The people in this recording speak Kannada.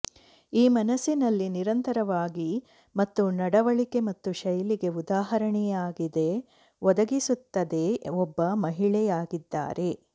ಈ ಮನಸ್ಸಿನಲ್ಲಿ ನಿರಂತರವಾಗಿ ಮತ್ತು ನಡವಳಿಕೆ ಮತ್ತು ಶೈಲಿಗೆ ಉದಾಹರಣೆಯಾಗಿದೆ ಒದಗಿಸುತ್ತದೆ ಒಬ್ಬ ಮಹಿಳೆಯಾಗಿದ್ದಾರೆ